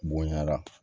Bonɲara